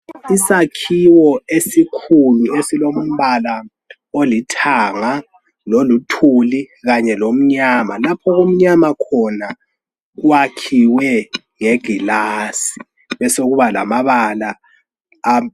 Isakhiwo esikhulu esilombala olithanga ,loluthuli kanye lomnyama .Laphokumnyama khona kwakhiwe ngegilasi besokuba lamabala amu